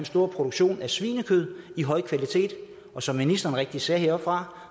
stor produktion af svinekød af høj kvalitet og som ministeren rigtigt sagde heroppefra